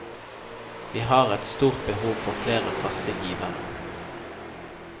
Vi har et stort behov for flere faste givere.